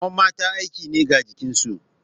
Rawar mata aiki ne ga jikinsu.